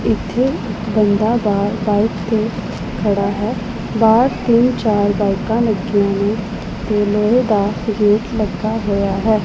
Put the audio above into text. ਇੱਥੇ ਇੱਕ ਬੰਦਾ ਬਾਹਰ ਬਾਇਕ ਤੇ ਖੜਾ ਹੈ ਬਾਹਰ ਤਿੰਨ ਚਾਰ ਬਾਇਕਾਂ ਲੱਗੀਆਂ ਨੇਂ ਤੇ ਲੋਹੇ ਦਾ ਗੇਟ ਲੱਗਿਆ ਹੋਇਆ ਹੈ।